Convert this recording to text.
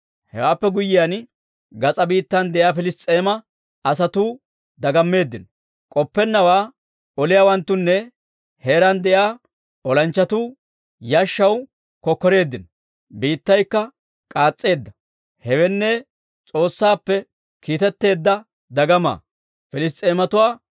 Hewaappe guyyiyaan, gas'aa biittan de'iyaa Piliss's'eema asatuu dagammeeddino; k'oppenawaa oliyaawanttunne heeraan de'iyaa olanchchatuu yashshaw kokkoreeddinno. Biittaykka k'aas's'eedda; hewenne, S'oossaappe kiitetteedda dagamaa.